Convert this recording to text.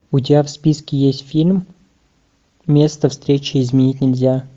у тебя в списке есть фильм место встречи изменить нельзя